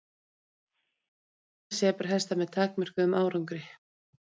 Reynt hefur verið að temja sebrahesta með takmörkuðum árangri.